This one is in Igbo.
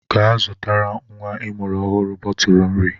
Gaa zụtara nwa ịmụrụ ọhụrụ bọtụlụ nri!